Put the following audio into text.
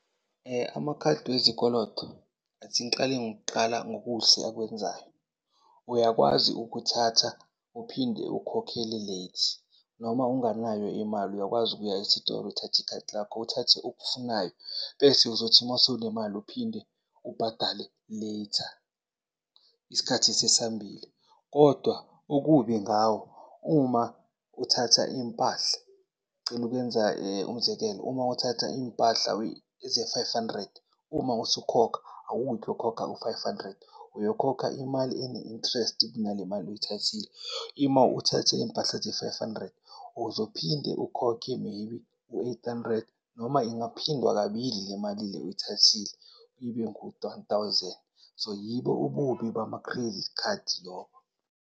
Amakhadi wezikoloto, athi ngiqale ngokuqala ngokuhle akwenzayo, uyakwazi ukuthatha uphinde ukhokhele late noma unganayo imali uyakwazi ukuya esitolo uthathe ikhadi lakho, uthathe okufunayo bese uzothi masewunemali uphinde ubhadale later, isikhathi sesihambile. Kodwa okubi ngawo, uma uthatha iy'mpahla, ngicela ukuyenza umzekelo, uma uthatha iy'mpahla ze-five hundred uma usukhokha awuyi kokhokha u-five hundred uyokhokha imali ene-interest kunale mali oyithathile. Ima uthathe iy'mpahla ze-five hundred uzophinde ukhokhe maybe u-eight hundred noma ingaphindwa kabili le mali oyithathile ibe thousand. So, yibo ububi bama-credit card lobo.